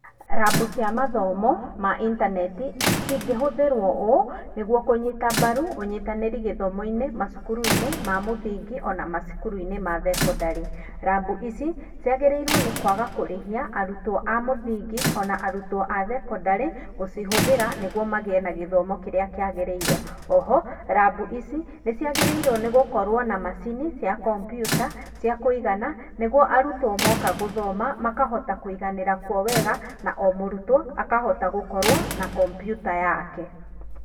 Rabu cia mathomo ma intaneti, cingĩhũthĩrwo ũũ nĩguo kũnyita mbaru ũnyitanĩri gĩthomo-inĩ macukuru-inĩ ma mũthingi na ma thekondarĩ. Rabu ici ciagĩrĩirwo nĩ kwaga kũrĩhia arutwo a mũthingĩ ona arutwo a thekondarĩ gũcihũthĩra nĩguo magĩe na gĩthomo kĩrĩa kĩagĩrĩire. Oho, rabu ici nĩciagĩrĩirwo nĩgũkorwo na macini cia kompiuta cia kũigana nĩguo arutwo moka gũthoma makahota kũiganĩra kuo wega na o mũrutwo akahota gũkorwo na kompiuta yake.